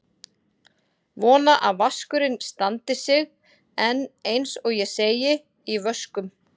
Vona að vaskurinn standi sig en eins og ég segi: í vöskum.